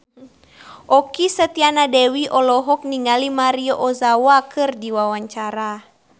Okky Setiana Dewi olohok ningali Maria Ozawa keur diwawancara